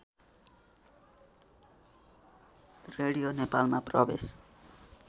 radio नेपालमा प्रवेश